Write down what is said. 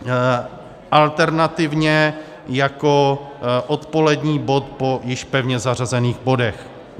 Alternativně jako odpolední bod po již pevně zařazených bodech.